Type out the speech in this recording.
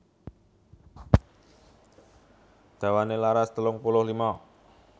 Dawané laras telung puluh lima